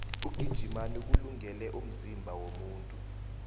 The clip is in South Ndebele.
ukugijima kulungele umzimba womuntu